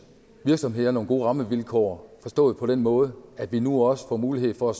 virksomheder nogle gode rammevilkår forstået på den måde at vi nu også får mulighed for